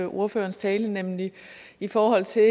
ordførerens tale nemlig i forhold til